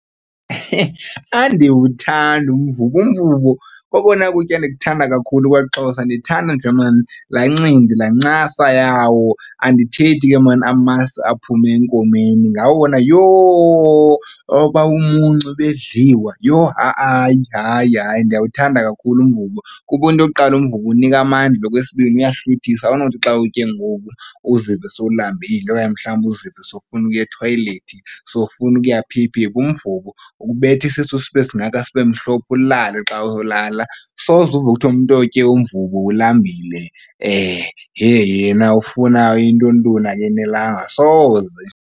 Andiwuthandi umvubo, umvubo kokona kutya ndikuthada kakhulu kwaXhosa, ndithanda nje laa ncindi laa ncasa yawo, andithethi ke maan amasi aphuma enkomeni. Ngawona yho! Oba bumuncu bedliwa yhoo ha-a hayi, hayi ndiyawuthanda kakhulu umvubo kuba into yokuqala umvubo unika amandla. Okwesibini, uyahluthisa, awunothi xa uwutye ngoku uzive sowulambile okanye mhlawumbi uzive sowufuna ukuya ethoyilethi, sowufuna ukuya phi phi phi. Umvubo ukubetha isisu sibe singaka, sibe mhlophe ulale xa ulala. Soze uve kuthiwa umntu otye umvubo ulambile yena ufuna intoni ntoni, akenelanga, soze.